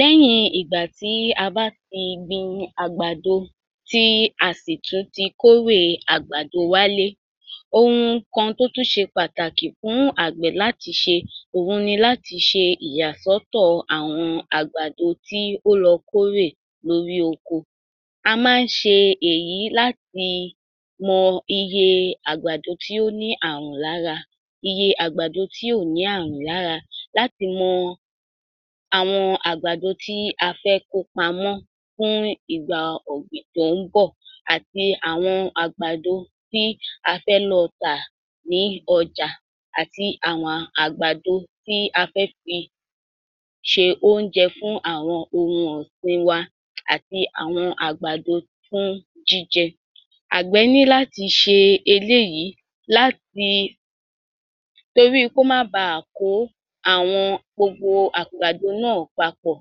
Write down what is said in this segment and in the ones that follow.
Lẹ́yìn ìgbà tí a bá ti gbin àgbàdo, tí a sì tún ti kórèe àgbàdo wálé, ohun kan tó tún ṣe pàtàkì fún àgbẹ̀ láti ṣe, òhun ni láti ṣe ìyàsọ́tọ̀ àwọn àgbàdo tí ó lọ kórè lórí oko. A máa ń ṣe èyí láti mọ iye àgbàdo tí ó ní ààrùn lára, iye àgbàdo tí ò ní ààrùn lára, láti mọ àwọn àgbàdo tí a fẹ́ kó pamọ́ fún ìgbà ọ̀gbìn tó ń bọ̀ àti àwọn àgbàdo tí a fẹ́ lọ tà ní ọjà àti àwàn àgbàdo tí a fẹ́ fi ṣe óúnjẹ fún àwọn ohun ọ̀sìn wa àti àwọn àgbàdo fún jíjẹ. Àgbẹ̀ ní láti ṣe eléyìí láti toríi kó má baà kó àwọn gbogbo àgbàdo náà papọ̀,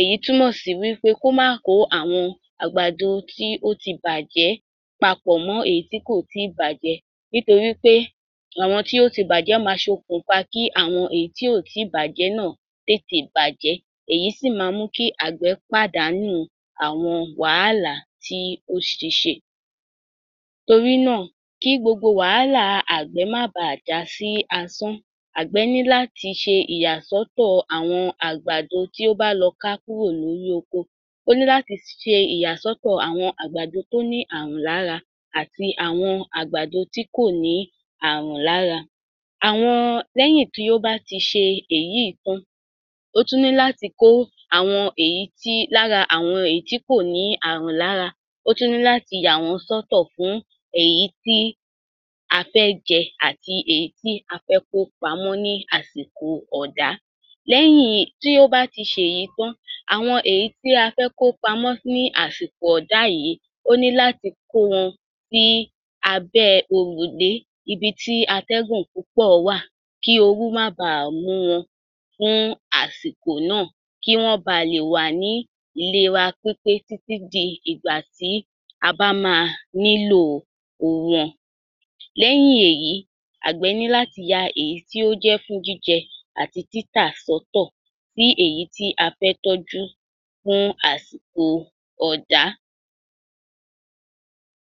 èyí túmọ̀ sí wí pé kó má kó àwọn àgbàdo tí ó ti bàjẹ́ papọ̀ mọ́ èyí tí kò tí ì bàjẹ́ nítorí pe àwọn tí ó ti bàjẹ́ máa ṣokùnfa kí àwọn tí kò ì tí ì bàjẹ́ náà tètè bàjẹ́, èyí sì ma mú kí àgbẹ̀ pàdánu àwọn wàhálàá tí ó ti ṣe. Torí náà, kí gbogbo wàhálà àgbẹ̀ má baà já sí asán, àgbẹ̀ ní láti ṣe ìyàsọ́tọ̀ àwọn àgbàdo tí ó bá lọ ká kúrò lórí oko. Ó ní láti ṣe ìyàsọ́tọ̀ àwọn àgbàdo tí ó ní ààrùn lára àti àwọn àgbàdo tí kò ní àá̀rùn lára. Àwọn lẹ́yìn tí ó bá ti ṣe èyíì tán, ó tún ní láti kó àwọn èyí tí lára àwọn èyí tí kò ní ààrùn lára. Ó tún ní láti yà wọ́n sọ́tọ̀ kún èyí tí a fẹ́ jẹ àti èyí tí a fẹ́ kó pamọ́ ní àsìko ọ̀dá. Lẹ́yìn tí ó bá ti ṣèyí tán, àwọn èyí tí a fẹ́ kó pamọ́ ní àsìkò ọ̀dá yìi, ó ní láti kó wọn sí abẹ́ẹ òrùlé, ibi tí atẹ́gùn púpọ̀ wà, kí ooru má baà mú un fún àsìkò náà, kí wọ́n ba lè wà ní ìlera pípé títí di ìgbà tí a bá máa nílò wọn. Lẹ́yìn èyí, àgbẹ̀ ní láti ya èyí tí ó jẹ́ fún jíjẹ àti títà sọ́tọ̀, tí èyí tí a fẹ́ tójú fún àsìko ọ̀dá.